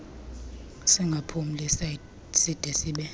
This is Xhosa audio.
singaphumli side sibe